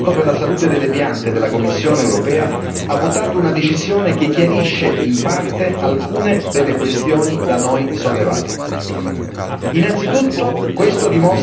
Nel frattempo, proprio questa settimana, il comitato per la salute delle piante della Commissione europea ha votato una decisione che chiarisce in parte alcune delle questioni da noi sollevate.